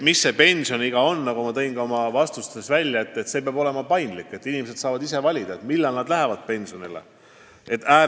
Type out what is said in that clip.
Nagu ma juba oma vastustes ütlesin, süsteem peab olema paindlik: on hea, kui inimesed saavad ise valida, millal nad pensionile lähevad.